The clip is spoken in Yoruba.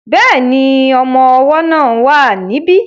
Bẹ́ẹ̀ni, ọmọ ọwọ́ náà wà ní bí